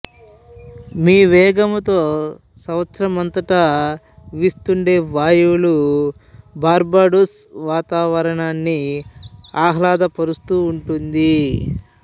మీ వేగంతో సంవత్సరమంతటా వీస్తుండే వాయులు బార్బడోస్ వాతావరణాన్ని ఆహ్లాదపరిస్తూ ఉంటుంది